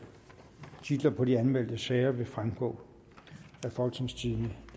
titler på de anmeldte sager vil fremgå af folketingstidende